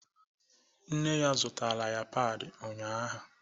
Nne ya zụtara ya padi ụnyahụ.